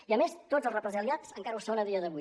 i a més tots els represaliats encara ho són a dia d’avui